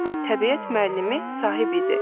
Bu təbiət müəllimi Sahib idi.